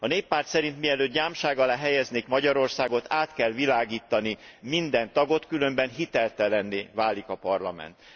tettek. A Néppárt szerint mielőtt gyámság alá helyeznék Magyarországot, át kell világítani minden tagot, különben hiteltelenné válik a Parlament.